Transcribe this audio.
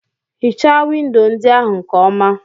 Hichaa windo ndị ahụ nke ọma